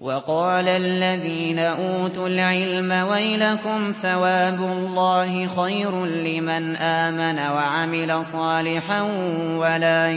وَقَالَ الَّذِينَ أُوتُوا الْعِلْمَ وَيْلَكُمْ ثَوَابُ اللَّهِ خَيْرٌ لِّمَنْ آمَنَ وَعَمِلَ صَالِحًا وَلَا